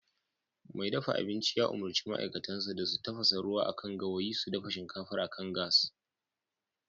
Mai dafa abinci ya umurci ma'aikatansa da su tafasa ruwa akan gawayi su dafa shinkafar akan gas